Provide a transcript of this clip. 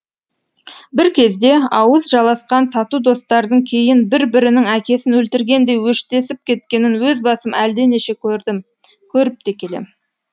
бір кезде ауыз жаласқан тату достардың кейін бір бірінің әкесін өлтіргендей өштесіп кеткенін өз басым әлденеше көрдім көріп те келем